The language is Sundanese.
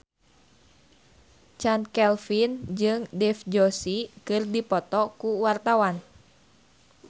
Chand Kelvin jeung Dev Joshi keur dipoto ku wartawan